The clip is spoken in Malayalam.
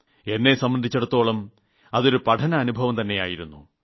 എന്നെ സംബന്ധിച്ചിടത്തോളം അതൊരു പഠനാനുഭവംതെയായിരുന്നു